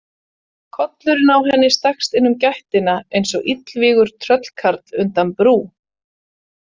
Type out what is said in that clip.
Kollurinn á henni stakkst inn um gættina eins og illvígur tröllkarl undan brú.